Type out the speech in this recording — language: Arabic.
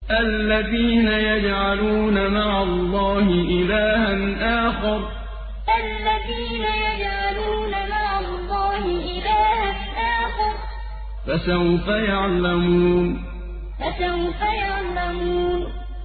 الَّذِينَ يَجْعَلُونَ مَعَ اللَّهِ إِلَٰهًا آخَرَ ۚ فَسَوْفَ يَعْلَمُونَ الَّذِينَ يَجْعَلُونَ مَعَ اللَّهِ إِلَٰهًا آخَرَ ۚ فَسَوْفَ يَعْلَمُونَ